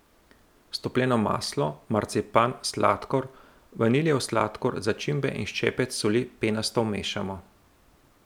Stopljeno maslo, marcipan, sladkor, vanilijev sladkor, začimbe in ščepec soli penasto vmešamo.